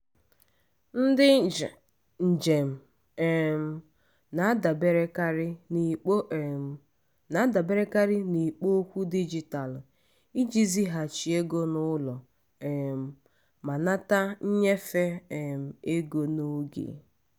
ndị njem um na-adaberekarị n'ikpo um na-adaberekarị n'ikpo okwu dijitalụ iji zighachi ego n'ụlọ um ma nata nnyefe um ego n'oge.